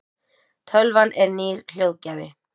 tölvan er nýr hljóðgjafi